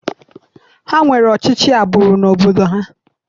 Ha nwere ọchịchị agbụrụ n'obodo ha.